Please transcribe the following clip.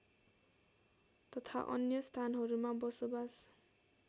तथा अन्य स्थानहरूमा बसोबास